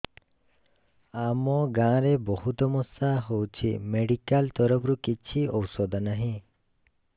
ଆମ ଗାଁ ରେ ବହୁତ ମଶା ହଉଚି ମେଡିକାଲ ତରଫରୁ କିଛି ଔଷଧ ନାହିଁ